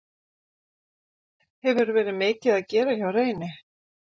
Hefur verið mikið að gera hjá Reyni?